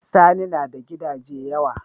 Sani nada Gidaje yawa